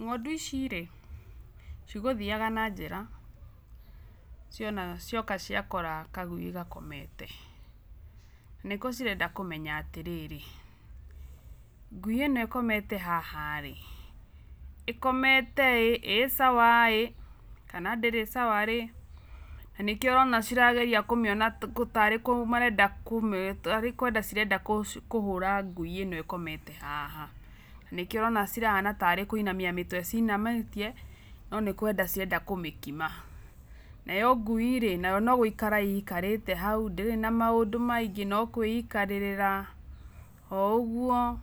Ng'ondu ici rĩ, cigũthiaga na njĩra cioka ciakora kagui gakomete. Nĩko cirenda kũmenya atĩrĩrĩ, ngui ĩno ĩkomete haha rĩ, ĩkomete i, sawa ĩĩ, kana ndĩrĩ sawa rĩ, na nĩkĩo ũrona cirageria tarĩ kwenda cirenda kũhũra ngui ĩno ĩkomete haha. Na nĩkĩo ũrona cihana tarĩ kũinamia mĩtwe ciinamĩtie no nĩkwenda cirenda kũmĩkima. Nayo ngui no gũikara ĩikarĩte hau ndĩrĩ na maũndũ maingĩ, No kũĩikarĩrĩra oo ũguo nĩguo